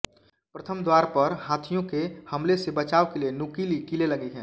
प्रथम द्वार पर हाथियों के हमले से बचाव के लिए नुकीली कीलें लगी हैं